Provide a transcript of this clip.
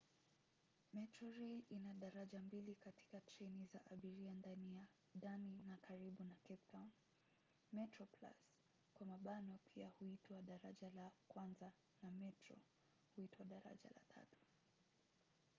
metrorail ina daraja mbili katika treni za abiria ndani na karibu na cape town: metroplus pia huitwa daraja la kwanza na metro huitwa daraja la tatu